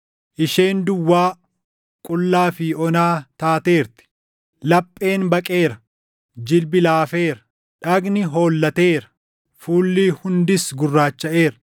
Isheen duwwaa, qullaa fi ona taateerti! Lapheen baqeera; jilbi laafeera; dhagni hollateera; fuulli hundis gurraachaʼeera.